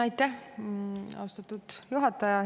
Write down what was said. Aitäh, austatud juhataja!